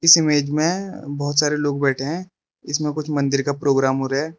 इस इमेज में बहोत सारे लोग बैठे हैं इसमें कुछ मंदिर का प्रोग्राम हो रहा है।